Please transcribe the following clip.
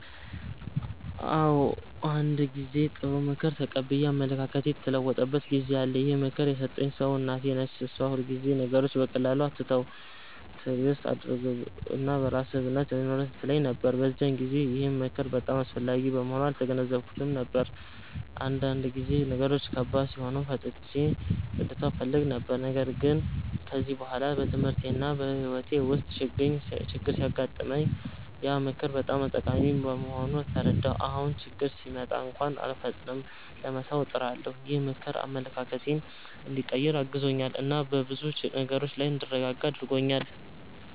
አዎ፣ አንድ ጊዜ ጥሩ ምክር ተቀብዬ አመለካከቴ የተለወጠበት ጊዜ አለ። ይህን ምክር የሰጠኝ ሰው እናቴ ነች። እሷ ሁልጊዜ “ነገሮችን በቀላሉ አትተው፣ ትዕግስት አድርግ እና በራስህ እምነት ይኑርህ” ትለኝ ነበር። በዚያን ጊዜ ግን ይህ ምክር በጣም አስፈላጊ መሆኑን አልተገነዘብኩትም ነበር፤ አንዳንድ ጊዜ ነገሮች ከባድ ሲሆኑ ፈጥኜ ልተው እፈልግ ነበር። ግን ከጊዜ በኋላ በትምህርቴና በሕይወቴ ውስጥ ችግኝ ሲገጥመኝ ያ ምክር በጣም ጠቃሚ መሆኑን ተረዳሁ። አሁን ችግኝ ሲመጣ እንኳን አልፈጥንም ለመተው፣ እጥራለሁ። ይህ ምክር አመለካከቴን እንዲቀይር አግዞኛል እና በብዙ ነገሮች ላይ እንድረጋጋ አድርጎኛል።